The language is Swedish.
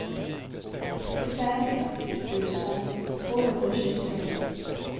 trettiofem tusen tvåhundratjugosex